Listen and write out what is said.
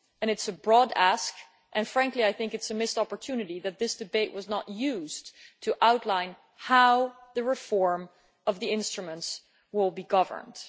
It is a broad ask and, frankly, I think it is a missed opportunity that this debate was not used to outline how the reform of the instruments will be governed.